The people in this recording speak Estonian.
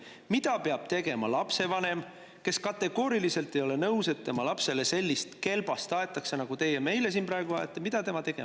Mida peab tegema lapsevanem, kes kategooriliselt ei ole nõus, et tema lapsele sellist kelbast aetakse, nagu teie meile siin praegu ajate?